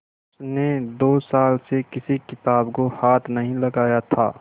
उसने दो साल से किसी किताब को हाथ नहीं लगाया था